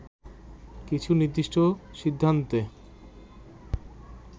কিছু নির্দিষ্ট সিদ্ধান্তে